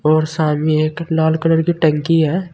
और सामने एक लाल कलर की टंकी है।